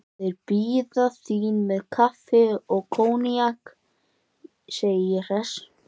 Þeir bíða þín með kaffi og koníak, segi ég hress.